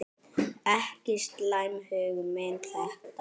Ekki slæm hugmynd þetta.